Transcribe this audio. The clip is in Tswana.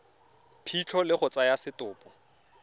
phitlho le go tsaya setopo